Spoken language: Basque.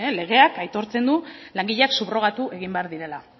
legeak aitortzen du langileak subrogatu egin behar direla